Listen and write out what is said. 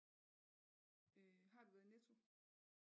Øh har du været i Netto